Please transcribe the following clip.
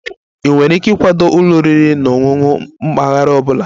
Ị nwere ike ịkwado ụlọ oriri na ọṅụṅụ mpaghara ọ bụla?